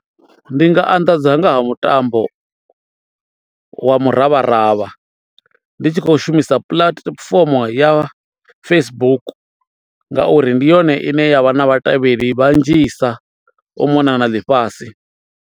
Ndi nga anḓadza nga ha mutambo wa muravharavha ndi tshi khou shumisa puḽatifomo ya Facebook ngauri ndi yone ine yavha na vhatevheli vhanzhisa u mona na ḽifhasi.